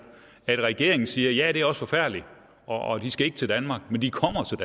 at regeringen siger at ja det er også forfærdeligt og de skal ikke til danmark men de